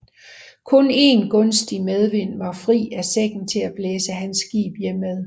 Kun en gunstig medvind var fri af sækken til at blæse hans skib hjemad